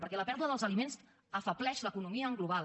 perquè la pèrdua dels aliments afebleix l’economia en global